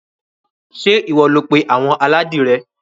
Ṣé ìwọ ló pé àwọn aládìrẹ?